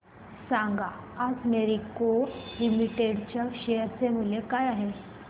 सांगा आज Marico limited च्या शेअर चे मूल्य काय आहे